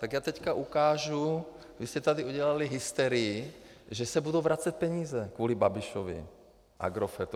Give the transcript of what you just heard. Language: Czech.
Tak já teď ukážu, vy jste tady udělali hysterii, že se budou vracet peníze kvůli Babišovi, Agrofertu.